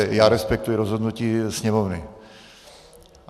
Takže já respektuji rozhodnutí sněmovny.